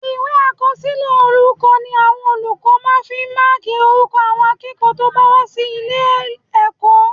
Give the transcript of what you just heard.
Ìwé àkọsílẹ̀ orúkọ ni olùkọ́ máa fi ń máàkì orúkọ àwọn akẹ́kọ̀ọ́ tó bá wá sí ilé-ẹ̀kọ́